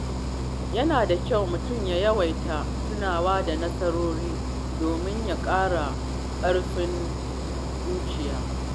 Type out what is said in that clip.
Yana da kyau mutum ya yawaita tunawa da nasarorinsa domin ya ƙara ƙarfin zuciya.